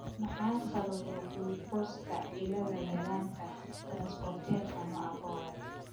Maxaa sababa gulukoosta cilada yarantaa transporterka nocaa kowaad ?